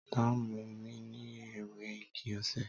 Tàn mù mi ni èwé ìgí òse?